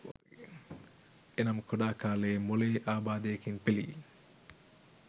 එනම් කුඩා කාලයේ මොළයේ අබාධයකින් පෙලී